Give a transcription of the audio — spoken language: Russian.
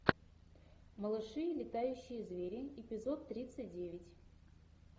малыши и летающие звери эпизод тридцать девять